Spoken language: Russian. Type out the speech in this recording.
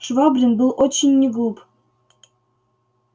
швабрин был очень не глуп